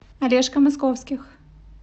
олежка московских